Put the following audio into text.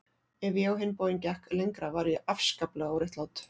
Ef ég á hinn bóginn gekk lengra var ég afskaplega óréttlát.